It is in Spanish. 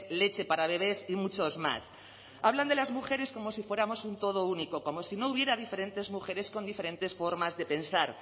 leche para bebés y muchos más hablan de las mujeres como si fuéramos un todo único como si no hubiera diferentes mujeres con diferentes formas de pensar